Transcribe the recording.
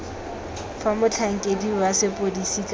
fa motlhankedi wa sepodisi kana